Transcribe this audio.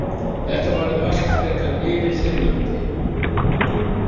Þetta varð allt frekar yfirþyrmandi.